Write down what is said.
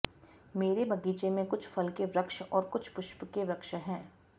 मेरे बगीचे में कुछ फल के वृक्ष और कुछ पुष्पके वृक्ष है